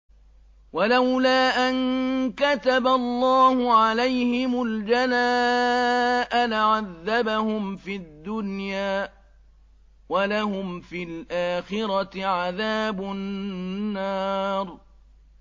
وَلَوْلَا أَن كَتَبَ اللَّهُ عَلَيْهِمُ الْجَلَاءَ لَعَذَّبَهُمْ فِي الدُّنْيَا ۖ وَلَهُمْ فِي الْآخِرَةِ عَذَابُ النَّارِ